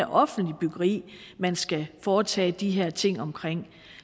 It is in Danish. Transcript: offentlige byggeri man skal foretage de her ting